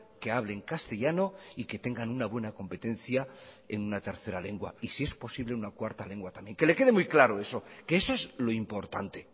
que hablen castellano y que tengan una buena competencia en una tercera lengua y si es posible una cuarta lengua también que le quede muy claro eso que eso es lo importante